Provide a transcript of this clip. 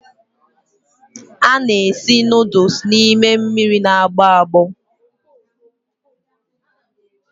A na-esi nuduls n'ime mmiri na-agbọ agbọ.